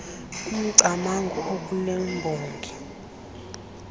umcamango okule mbongi